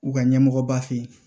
U ka ɲɛmɔgɔba fe ye